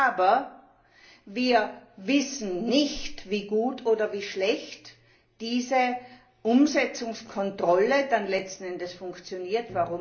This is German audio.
Aber wir wissen nicht, wie gut oder wie schlecht die Umsetzungskontrolle dann letzten Endes funktioniert.